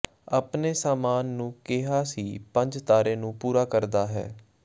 ਆਪਣੇ ਸਾਮਾਨ ਨੂੰ ਕਿਹਾ ਸੀ ਪੰਜ ਤਾਰੇ ਨੂੰ ਪੂਰਾ ਕਰਦਾ ਹੈ